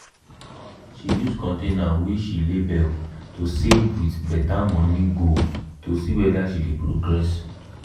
she use container wey she label to save with better money goal to see whether she dey progress.